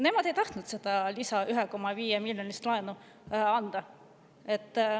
Nemad ei tahtnud seda 1,5 miljoni euro suurust lisalaenu anda.